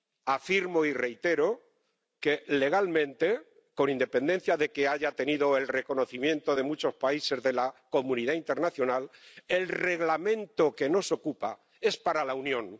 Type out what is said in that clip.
Afirmo y reitero que, legalmente, con independencia de que haya tenido el reconocimiento de muchos países de la comunidad internacional, el Reglamento que nos ocupa es para la Unión.